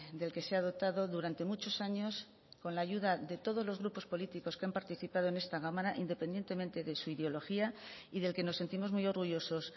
del que se ha dotado durante muchos años con la ayuda de todos los grupos políticos que han participado en esta cámara independientemente de su ideología y del que nos sentimos muy orgullosos